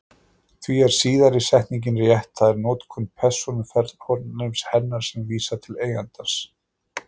Því er síðari setningin rétt, það er notkun persónufornafnsins hennar sem vísar til eigandans.